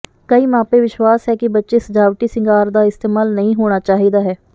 ਕਈ ਮਾਪੇ ਵਿਸ਼ਵਾਸ ਹੈ ਕਿ ਬੱਚੇ ਸਜਾਵਟੀ ਸ਼ਿੰਗਾਰ ਦਾ ਇਸਤੇਮਾਲ ਨਹੀ ਹੋਣਾ ਚਾਹੀਦਾ ਹੈ